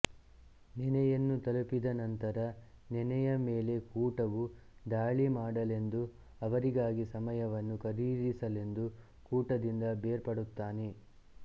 ನೆನೆಯನ್ನು ತಲುಪಿದ ನಂತರ ನೆನೆಯ ಮೇಲೆ ಕೂಟವು ದಾಳಿಮಾಡಲೆಂದು ಅವರಿಗಾಗಿ ಸಮಯವನ್ನು ಖರೀದಿಸಲೆಂದು ಕೂಟದಿಂದ ಬೇರ್ಪಡುತ್ತಾನೆ